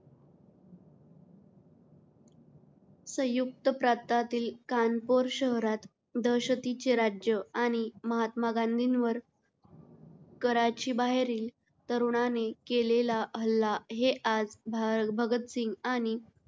संयुक्त प्रांतातील कानपुर शहरात दहशतीचे राज्य आणि महात्मा गांधींवर कराची बाहेरील तरुणाने केलेला हल्ला हे आज भा भगत सिंग आणि